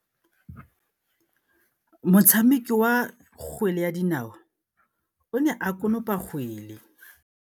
Motshameki wa kgwele ya dinaô o ne a konopa kgwele.